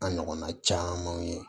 An ɲɔgɔnna camanw ye